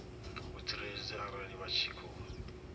vhutsireledzi arali vha tshi khou